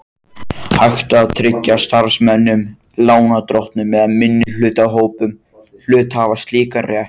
hægt að tryggja starfsmönnum, lánardrottnum eða minnihlutahópum hluthafa slíkan rétt.